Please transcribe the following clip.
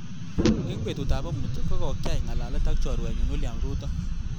Eng betut ab amut kokyaii ngalalet ak chorwenyu William ruto.